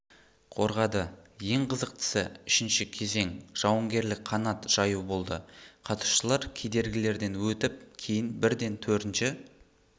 қорғады ең қызықтысы үшіншісі кезең жауынгерлік қанат жаю болды қатысушылар кедергілерден өтіп кейін бірден төртінші